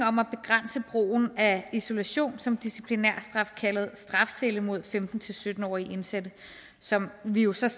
om at begrænse brugen af isolation som disciplinærstraf kaldet strafcelle mod femten til sytten årige indsatte som vi jo slet